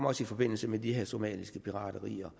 også i forbindelse med de her somaliske piraterier